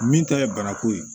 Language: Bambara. Min ta ye bana ko ye